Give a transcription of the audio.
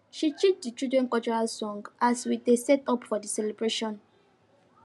she teach the children cultural song as we dey set up for the celebration